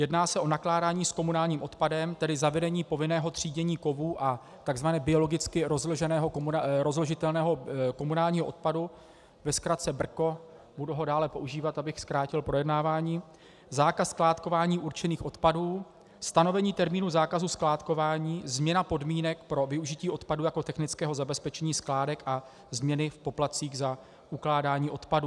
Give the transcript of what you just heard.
Jedná se o nakládání s komunálním odpadem, tedy zavedení povinného třídění kovů a tzv. biologicky rozložitelného komunálního odpadu - ve zkratce BRKO, budu ho dále používat, abych zkrátil projednávání -, zákaz skládkování určených odpadů, stanovení termínu zákazu skládkování, změna podmínek pro využití odpadu jako technického zabezpečení skládek a změny v poplatcích za ukládání odpadů.